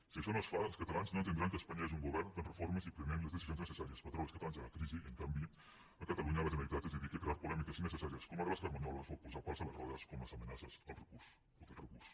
si això no es fa els catalans no entendran que a espanya hi hagi un govern fent reformes i prenent les decisions necessàries per treure els catalans de la crisi i en canvi a catalunya la generalitat es dediqui a crear polèmiques innecessàries com les de les carmanyoles o a posar pals a les rodes com les amenaces del recurs